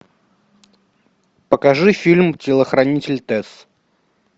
покажи фильм телохранитель тесс